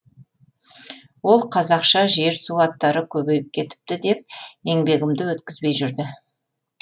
ол қазақша жер су аттары көбейіп кетіпті деп еңбегімді өткізбей жүрді